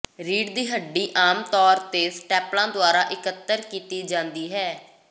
ਰੀੜ੍ਹ ਦੀ ਹੱਡੀ ਆਮ ਤੌਰ ਤੇ ਸਟੈਪਲਾਂ ਦੁਆਰਾ ਇਕੱਤਰ ਕੀਤੀ ਜਾਂਦੀ ਹੈ